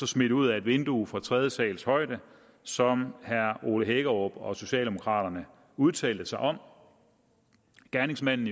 smidt ud ad et vindue fra tredje sals højde som herre ole hækkerup og socialdemokraterne udtalte sig om gerningsmanden